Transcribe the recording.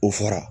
O fara